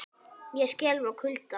Ég skelf af kulda.